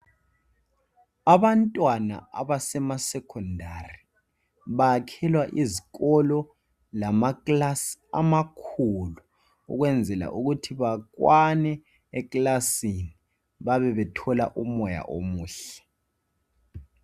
Abantwana abasema secondary bayakhelwa izikolo lamakilasi amakhulu ukwenzela ukuthi bakwane ekilasini babe bethola umoya omuhle.